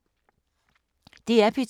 DR P2